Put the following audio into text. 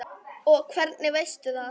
Og hvernig veistu það?